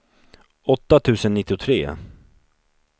åtta tusen nittiotre